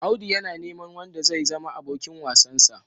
Audu yana neman wanda zai zama abokin wasansa.